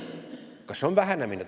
Kas see on vähenemine?